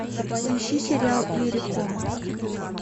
поищи сериал иерихон